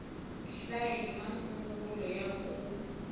hlaya i masungulo ya ku